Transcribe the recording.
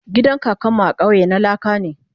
gidan kakan mu a kauye na laka ne